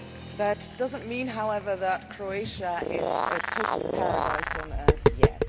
That does not mean, however, that Croatia is a total paradise on earth yet.